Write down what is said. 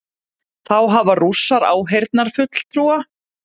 Þá hafa Rússar áheyrnarfulltrúa